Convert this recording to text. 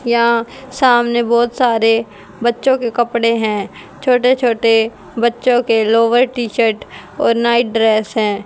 यहां सामने बहुत सारे बच्चों के कपड़े हैं छोटे छोटे बच्चों के लोवर टी शर्ट और नाइट ड्रेस हैं।